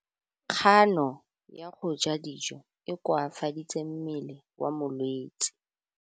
Kganô ya go ja dijo e koafaditse mmele wa molwetse.